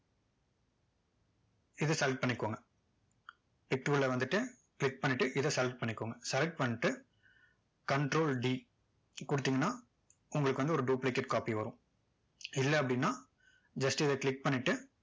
இதை select பண்ணிக்கோங்க pic tool ல வந்துட்டு click பண்ணிட்டு இதை select பண்ணிக்கோங்க select பண்ணிட்டு control d கொடுத்தீங்கன்னா உங்களுக்கு வந்து ஒரு duplicate copy வரும் இல்ல அப்படின்னா just இதை click பண்ணிட்டு